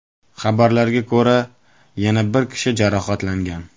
Xabarlarga ko‘ra, yana bir kishi jarohatlangan.